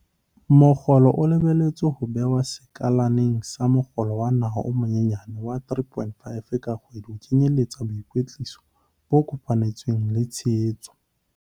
Mokgolo o lebelletswe ho behwa sekaleng sa mokgolo wa naha o monyenyane wa R3 500 ka kgwedi o kenyelletsang boikwetliso bo kopanetsweng le tshehetso.